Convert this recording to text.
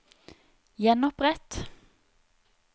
gjenopprett